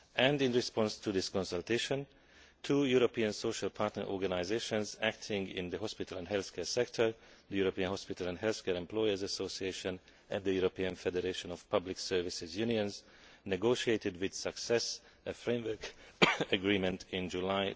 In response to this consultation two European social partner organisations acting in the hospital and healthcare sector, the European Hospital and Healthcare Employers' Association and the European Federation of Public Service Unions, negotiated with success a framework agreement in July